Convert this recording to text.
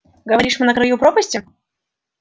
говоришь мы на краю пропасти